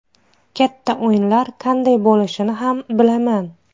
Katta o‘yinlar qanday bo‘lishini ham bilaman.